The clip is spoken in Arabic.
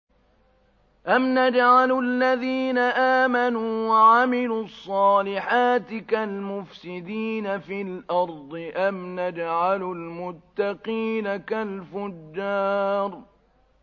أَمْ نَجْعَلُ الَّذِينَ آمَنُوا وَعَمِلُوا الصَّالِحَاتِ كَالْمُفْسِدِينَ فِي الْأَرْضِ أَمْ نَجْعَلُ الْمُتَّقِينَ كَالْفُجَّارِ